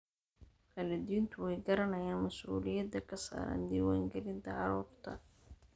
Waalidiintu way garanayaan mas'uuliyadda ka saaran diiwaangelinta carruurta.